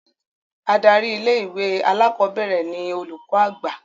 Adarí ilé-ìwé alákọ̀ọ́bẹ̀rẹ̀ ni Olùkọ́ Àgbà